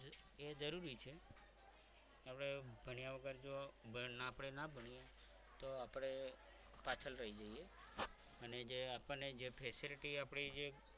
એ જરૂરી છે આપણે ભણ્યા વગર જો આપણે ના ભણીએ તો આપણે પાછળ રહી જઈએ અને આપણને જે facilities આપણી જે